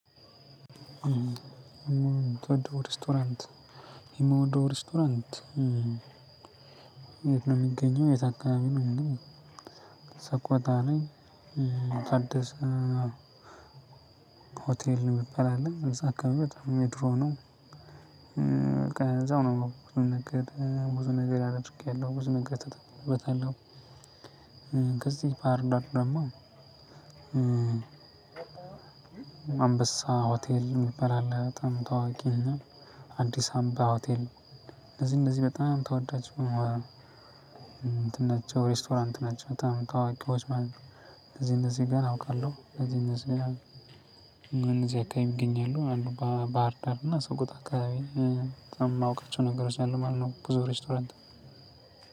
የምወደው ሬስቶራንት የት ነው የሚገኘው የት አካባቢ ነው የሚለው ሰቆታ ላይ ታደሰ ሆቴል የሚባል አለ። እዛ አካባቢ በጣም የድሮ ሆኖ በቃ እዛው ነው ብዙ ነገር ብዙ ነገር አድርጊያሁ ብዙ ነገር ተጠቅሜበታለሁ። ከዚህ ባህርዳር ደግሞ አንበሳ ሆቴል የሚባል አለ በጣም ታዋቂ እና አዲስ አምባ ሆቴል እነዚህ እነዚህ በጣም ተወዳጅ እንትን ናቸው ሬስቶራንት ናቸው። በጣም ታዋቂዎች ማለት እነዚህ እነዚህ ጋር አውቃለሁ እዚህ እነዚህ ጋር እነዚህ አካባቢ ይገኛሉ። አንዱ ባህር ዳር እና ሰቆጣ አካባቢ በጣም የማውቃቸው ነገሮች አሉ ማለት ነው ብዙ ሬስቶራንት።